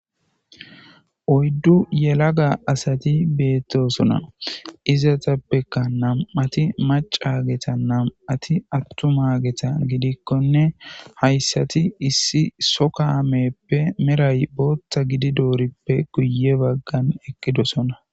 Oyddu yelaga asati beettosona izatappekka nam7ati macageta nam7ati attuma geta gidikkonne hayssati issi sokameppe meray bootta gidi doorippe guye baggan eqqidosona.